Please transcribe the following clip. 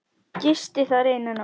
Gisti þar eina nótt.